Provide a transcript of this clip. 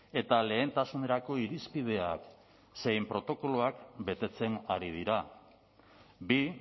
eta lehentasunerako irizpideak zein protokoloak betetzen ari dira bi